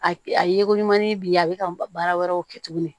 A a ye ko ɲumanin bi a bɛ ka baara wɛrɛw kɛ tuguni